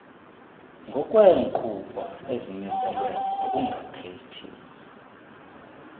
ngokweenqobo ezimiselwe ngokungakhethi